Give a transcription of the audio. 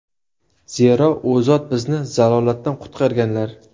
Zero, u zot bizni zalolatdan qutqarganlar.